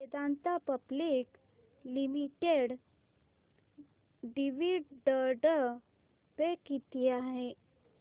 Vedanta public limited dividend pay किती आहे